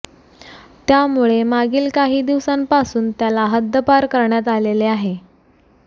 त्यामुळे मागील काही दिवसांपासून त्याला हद्द्दपार करण्यात आलेले आहे